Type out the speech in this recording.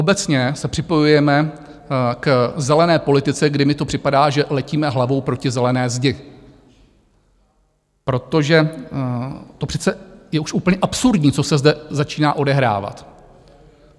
Obecně se připojujeme k zelené politice, kdy mi to připadá, že letíme hlavou proti zelené zdi, protože to přece je už úplně absurdní, co se zde začíná odehrávat.